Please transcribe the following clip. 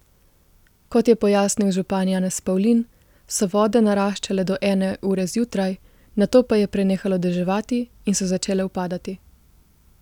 Kot je pojasnil župan Janez Pavlin, so vode naraščale do ene ure zjutraj, nato pa je prenehalo deževati in so začele upadati.